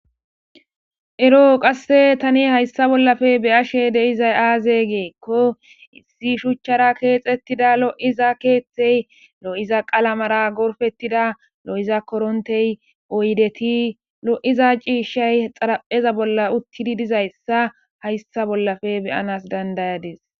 eroo qasse tani hayssa bollafe beyashe de'izay aaze geekko issi shuchchara keexettida lo'iza keeththey lo'iza qalamara gorfettida lo'iza korontey oydeti lo'iza ciishshay xarapheza bolla uttidi dizayssa hayssa bollafe be'anas dandayades